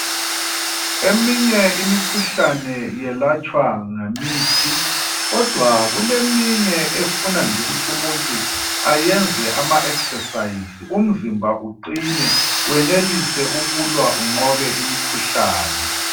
Eminye imikhuhlane yelatshwa ngemithi. Kodwa kuleminye efuna nje ukuthi umuntu ayenze ama exercise umzimba uqine wenelise ukulwa unqobe imikhuhlane.